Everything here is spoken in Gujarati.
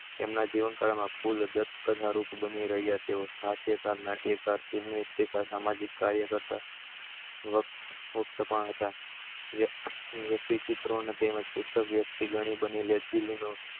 તેમના જીવન કાળ માં કુલ દસ કથા રૂપ બની રહી હતી સાહિત્ય કાર નાટ્યકાર તે કથા માં વ્યક્તિ ચિત્ર બનેલી છે